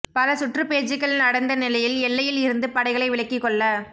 பல சுற்று பேச்சுகள் நடந்த நிலையில் எல்லையில் இருந்து படைகளை விலக்கி கொள்ள